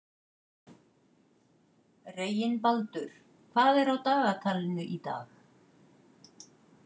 Reginbaldur, hvað er á dagatalinu í dag?